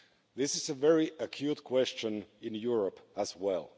This is a very acute question in Europe as well.